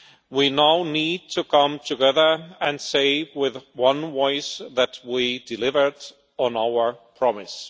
We now need to come together and say with one voice that we delivered on our promise.